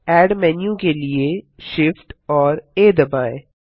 add menu के लिए Shift और आ दबाएँ